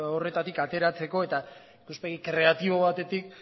horretatik ateratzeko eta ikuspegi kreatibo batetik